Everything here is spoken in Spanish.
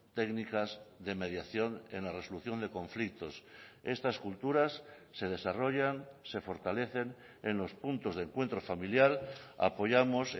técnicas de mediación en la resolución de conflictos estas culturas se desarrollan se fortalecen en los puntos de encuentro familiar apoyamos